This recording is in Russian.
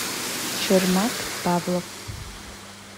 шермат павлов